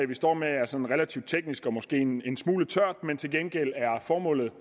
vi står med er sådan relativt teknisk og måske en en smule tørt men til gengæld er formålet